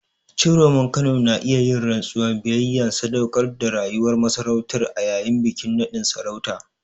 Ciroman Kano na iya yin rantsuwar biyayya da sadaukar da rayuwar masarautar a yayin bikin naɗin sarauta.